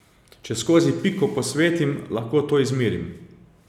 Če skozi piko posvetim, lahko to izmerim.